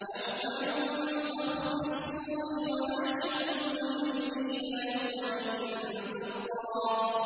يَوْمَ يُنفَخُ فِي الصُّورِ ۚ وَنَحْشُرُ الْمُجْرِمِينَ يَوْمَئِذٍ زُرْقًا